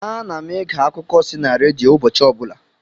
Ana m ege akuko si na redio ụbọchị ọbụla